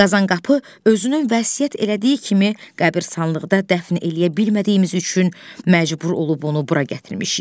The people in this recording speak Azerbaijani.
Qazanqapı özünün vəsiyyət elədiyi kimi qəbiristanlıqda dəfn eləyə bilmədiyimiz üçün məcbur olub onu bura gətirmişik.